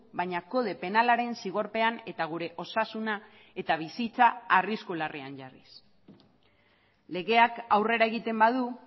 baina kode penalaren zigorpean eta gure osasuna eta bizitza arrisku larrian jarriz legeak aurrera egiten badu